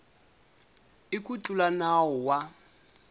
i ku tlula nawu wa